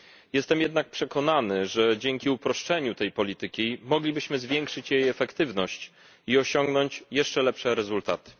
Jestem jednak przekonany, że dzięki uproszczeniu tej polityki moglibyśmy zwiększyć jej efektywność i osiągnąć jeszcze lepsze rezultaty.